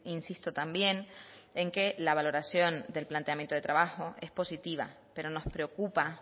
insisto también en que la valoración del planteamiento de trabajo es positiva pero nos preocupa